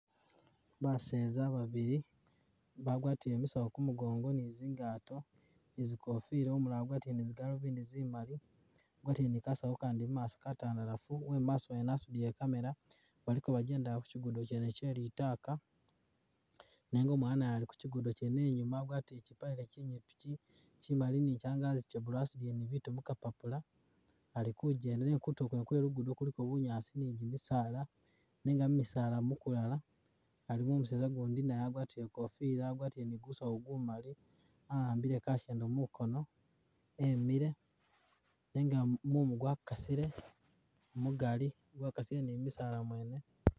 Baseza babili bagwatile misawu kumugongo ni zingaato ni zi kofila umulala wagwatile ni zigalubindi zimali agwatiĺe ni kasawo kandi mumaaso katandalafu ,uwemumaaso wene wasudile i'camera balikobajjendela ku kyigudo kyene kye litaaka nenga umwana naye Ali ku kyigudo kyene inyuma agwatile kyipaale kyinyipi kyi kyimali ni kyangazi kye blue asudile ni bitu mukapapula Ali kujjenda nenga kutulo kwene kwe lugudo kuliko bunyaasi ni gyimisaala nenga mu misaala mukulala alimo umuseza gundi naye agwatiĺe ikofila agwatile ni gusawu gumali a'ambile kashendo mukono emile, nenga mu mumu gwakasile mugali, gwakasile ni mu'bisaala mwene